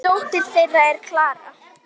Dóttir þeirra er Klara.